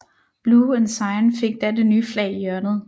Blue Ensign fik da det nye flag i hjørnet